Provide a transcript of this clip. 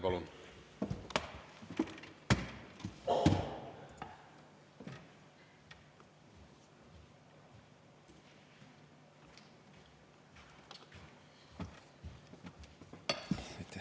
Palun!